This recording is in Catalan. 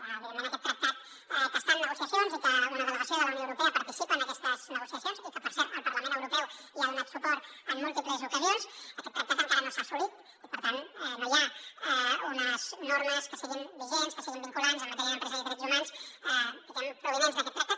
evidentment aquest tractat que està en negociacions i que una delegació de la unió europea participa en aquestes negociacions i que per cert el parlament europeu hi ha donat suport en múltiples ocasions aquest tractat encara no s’ha assolit i per tant no hi ha unes normes que siguin vigents que siguin vinculants en matèria d’empresa i de drets humans provinents d’aquest tractat